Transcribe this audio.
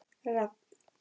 Rafn